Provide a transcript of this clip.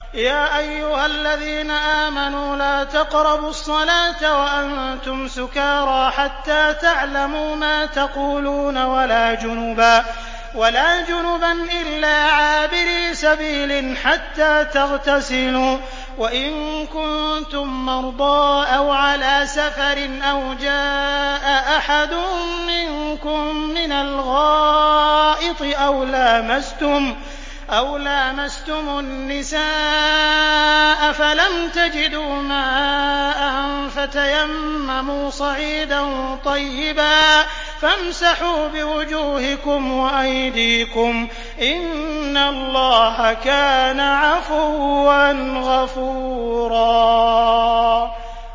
يَا أَيُّهَا الَّذِينَ آمَنُوا لَا تَقْرَبُوا الصَّلَاةَ وَأَنتُمْ سُكَارَىٰ حَتَّىٰ تَعْلَمُوا مَا تَقُولُونَ وَلَا جُنُبًا إِلَّا عَابِرِي سَبِيلٍ حَتَّىٰ تَغْتَسِلُوا ۚ وَإِن كُنتُم مَّرْضَىٰ أَوْ عَلَىٰ سَفَرٍ أَوْ جَاءَ أَحَدٌ مِّنكُم مِّنَ الْغَائِطِ أَوْ لَامَسْتُمُ النِّسَاءَ فَلَمْ تَجِدُوا مَاءً فَتَيَمَّمُوا صَعِيدًا طَيِّبًا فَامْسَحُوا بِوُجُوهِكُمْ وَأَيْدِيكُمْ ۗ إِنَّ اللَّهَ كَانَ عَفُوًّا غَفُورًا